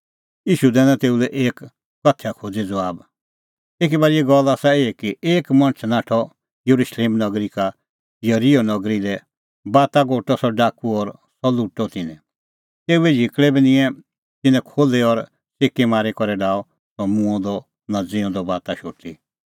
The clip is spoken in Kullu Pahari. ईशू दैनअ तेऊ लै एक कथैया खोज़ी ज़बाब एकी बारीए गल्ल आसा एही कि एक मणछ नाठअ येरुशलेम नगरी का येरिहो नगरी लै बाता गोटअ सह डाकू और सह लुटअ तिन्नैं तेऊए झिकल़ै बी निंयैं तिन्नैं खोल्ही और च़िकीमारी करै डाहअ सह मूंअ नां ज़िऊंदअ बाता शोटी